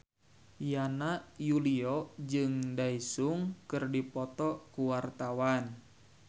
Yana Julio jeung Daesung keur dipoto ku wartawan